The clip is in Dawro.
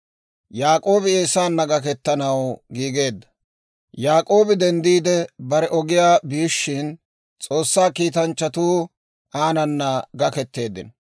Yaak'oobi denddiide bare ogiyaa biishshin, S'oossaa kiitanchchatuu aanana gaketeeddino.